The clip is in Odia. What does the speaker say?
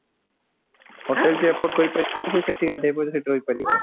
ସେ ସେଠି ଗାଧେଇ ପାଧେଇ ସେଠି ରହିପାରିବା